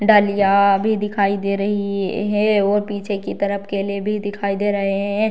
डालियाँ भी दिखाई दे रही है और पीछे की तरफ केले भी दिखाई दे रहें हैं।